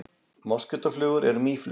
Moskítóflugur eru mýflugur.